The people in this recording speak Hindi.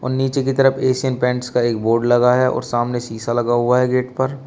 नीचे की तरफ एशियन पेंट्स का एक बोर्ड लगा है और सामने शीशा लगा हुआ है गेट पर।